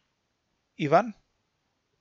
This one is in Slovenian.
Ivan?